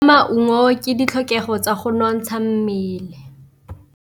Go ja maungo ke ditlhokegô tsa go nontsha mmele.